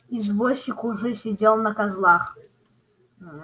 извозчик уже сидел на козлах